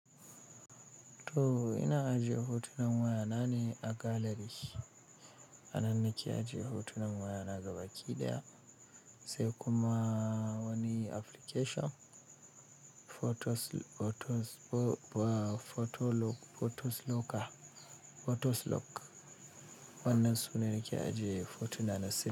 To ina aje hotunan wayana ne a gallery. A nan ne ke aje hotunan wayana gabaki ɗaya, sai kuma wani application Photos lock wannan sune nake aje hotuna na sai.